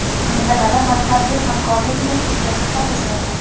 mintaqada manfaatli hamkorlik muhitiga hissa qo‘shayapmiz;.